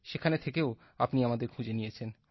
সেখান থেকেও আপনি আমাদের খুঁজে নিয়েছেন